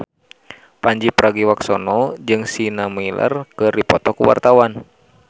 Pandji Pragiwaksono jeung Sienna Miller keur dipoto ku wartawan